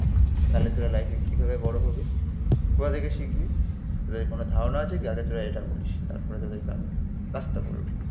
তাহলে তোরা লাইফে কিভাবে বড়ো হবি, কোথা থেকে শিখবি তোদের কোনো ধারণা আছে কি? আগে তোরা এটা বলিস তারপরে তোদেরকে আমি আসতে বলবো